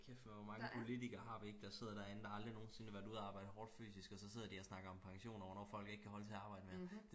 kæft hvor mange politikkere har vi ikke der sidder derinde der aldrig nogensinde har været ude og arbejde hårdt fysisk og så sidder de og snakker om pension og hvornår folk ikke kan holde til og arbejde mere